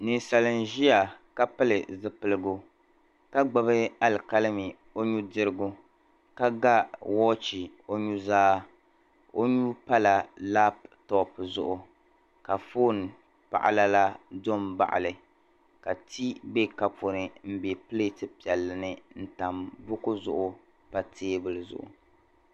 Ninsal' n-ʒiya ka pili zipiligu ka gbubi alikalimi o nudirigu ka ga wɔɔchi o nuzaa o nuu pala laptɔp zuɣu ka foon'paɣila la do m-baɣi li ka tii be kopu ni m-be pileeti piɛlli ni n-tam buku zuɣu pa teebuli zuɣu.